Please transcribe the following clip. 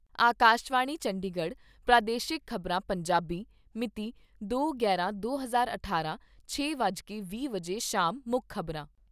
ਆਕਾਸ਼ਵਾਣੀ ਚੰਡੀਗੜ੍ਹ ਪ੍ਰਾਦੇਸ਼ਿਕ ਖ਼ਬਰਾਂ , ਪੰਜਾਬੀ ਮਿਤੀ ਦੋ ਗਿਆਰਾਂ ਦੇ ਹਜ਼ਾਰ ਅਠਾਰਾਂ, ਛੇ ਵੱਜ ਕੇ ਵੀਹ ਮਿੰਟ ਸ਼ਾਮ ਮੁੱਖ ਖ਼ਬਰਾਂ